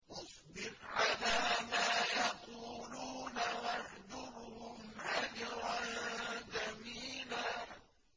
وَاصْبِرْ عَلَىٰ مَا يَقُولُونَ وَاهْجُرْهُمْ هَجْرًا جَمِيلًا